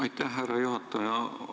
Aitäh, härra juhataja!